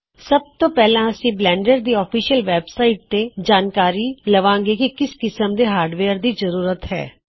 ਸੱਬ ਤੋ ਪਹਿਲਾਂ ਅਸੀ ਬਲੈਨਡਰ ਦੀ ਅਫ਼ਿਸ਼ਲ ਵੈੱਬਸਾਇਟ ਤੋ ਪੜ੍ਹਦੇ ਹਾਂ ਕੇ ਕਿਸ ਕਿਸਮ ਦੇ ਹਾਰਡਵੇਅਰ ਦੀ ਜਰੂਰਤ ਹੈ